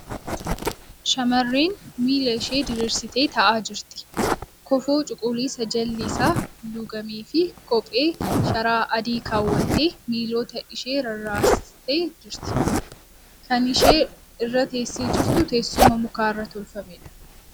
Shamarreen miila ishee diriirsitee taa'aa jirti. Kofoo cuquliisa jalli isaa luugamee fi kophee sharaa adii keewwattee miilota ishaa rarraastee jirti .Kan ishee irra teessee jirtu teessuma muka irraa tolfameedha .